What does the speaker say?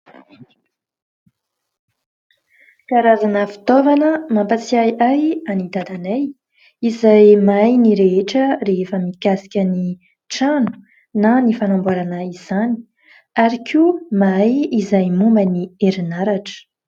Karazana fitaovana mampatsiahy ahy an'i dadanay izay mahay ny rehetra rehefa mikasika ny trano na ny fanamboarana izany ary koa mahay izay momba ny herinaratra.